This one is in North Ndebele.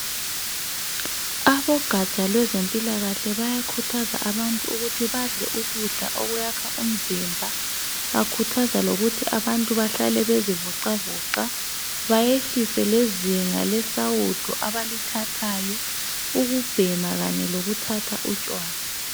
Abogatsha lwezempilakahle bayakhuthazwa abantu kuthi badle ukudla okwakha umzimba. Bakhuthaza lokuthi abantu bahlale bezivoxa voxa bayehlise lezinga lesawudo abalithathayo, ukubhema kanye lokuthatha utshwala.